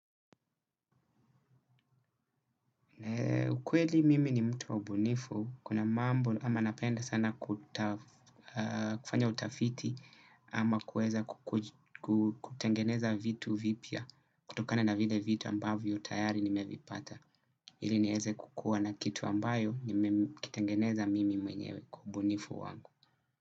Kweli mimi ni mtu wa ubunifu kuna mambo ambayo napenda sana kufanya utafiti ama kueza kutengeneza vitu vipya kutokana na vile vitu ambavyo tayari nimevipata ili nieze kukua na kitu ambayo nimekitengeneza mimi mwenyewe kwa ubunifu wangu.